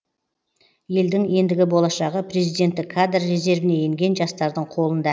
елдің ендігі болашағы президенттік кадр резервіне енген жастардың қолында